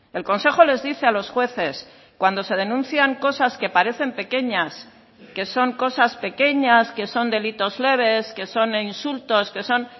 el consejo les dice a los jueces cuando se denuncian cosas que parecen pequeñas que son cosas pequeñas que son delitos leves que son insultos que son